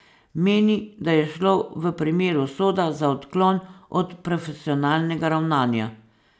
Meni, da je šlo v primeru Soda za odklon od profesionalnega ravnanja.